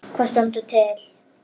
Hvað stendur til?